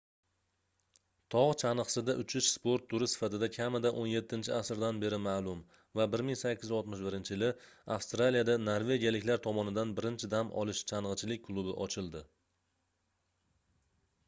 togʻ changʻisida uchish sport turi sifatida kamida 17 asrdan beri maʼlum va 1861-yili avstraliyada norvegiyaliklar tomonidan birinchi dam olish changʻichilik klubi ochildi